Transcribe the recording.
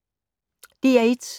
DR1